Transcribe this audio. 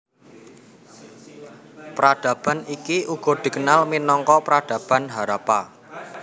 Peradaban iki uga dikenal minangka Peradaban Harappa